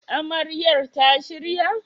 Amaryar ta shirya?